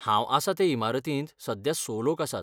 हांव आसा ते इमारतींत सध्या स लोक आसात.